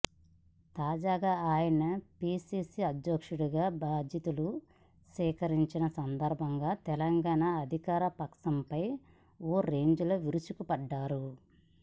తాజాగా ఆయన పీసీసీ అధ్యక్షునిగా బాధ్యతలు స్వీకరించిన సందర్భంగా తెలంగాణ అధికారపక్షంపై ఓ రేంజ్లో విరుచుకుపడ్డారు